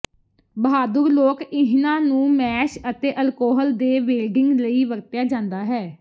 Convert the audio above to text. ਬਹਾਦੁਰ ਲੋਕ ਇਹਨਾਂ ਨੂੰ ਮੈਸ਼ ਅਤੇ ਅਲਕੋਹਲ ਦੇ ਵੇਲਡਿੰਗ ਲਈ ਵਰਤਿਆ ਜਾਂਦਾ ਹੈ